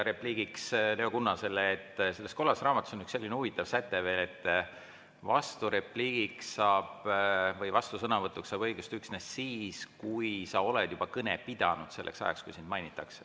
Repliigiks Leo Kunnasele: selles kollases raamatus on üks selline huvitav säte, et vasturepliigiks või vastusõnavõtuks saab õiguse üksnes siis, kui sa oled juba kõne pidanud selleks ajaks, kui sind mainitakse.